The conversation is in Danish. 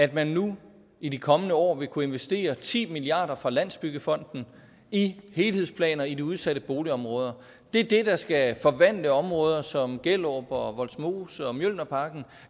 at man nu i de kommende år vil kunne investere ti milliard kroner fra landsbyggefonden i helhedsplaner i de udsatte boligområder det er det der skal forvandle områder som gellerup vollsmose og mjølnerparken